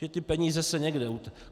Že ty peníze se někde...